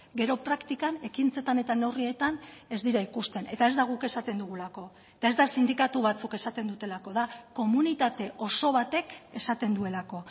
gero praktikan ekintzetan eta neurrietan ez dira ikusten eta ez da guk esaten dugulako eta ez da sindikatu batzuk esaten dutelako da komunitate oso batek esaten duelako